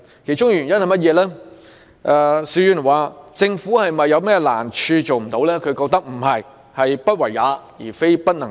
究其原因，邵議員認為政府並不是遇到甚麼困難，所以未能做到，而是"不為也，非不能也"。